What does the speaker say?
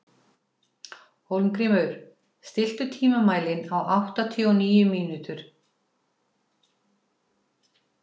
Hólmgrímur, stilltu tímamælinn á áttatíu og níu mínútur.